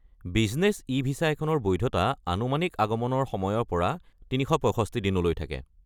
Business e visa এখনৰ বৈধতা আনুমানিক আগমনৰ সময়ৰ পৰা ৩৬৫ দিনলৈ থাকে।